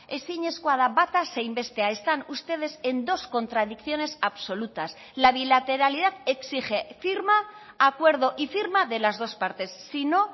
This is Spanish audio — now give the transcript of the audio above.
ezinezkoa da bata zein bestea están ustedes en dos contradicciones absolutas la bilateralidad exige firma acuerdo y firma de las dos partes sino